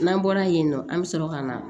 N'an bɔra yen nɔ an bɛ sɔrɔ ka na